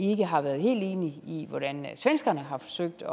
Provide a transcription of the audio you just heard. har været helt enig i hvordan svenskerne har forsøgt at